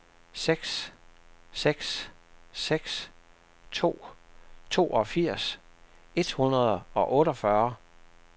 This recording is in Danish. seks seks seks to toogfirs et hundrede og otteogfyrre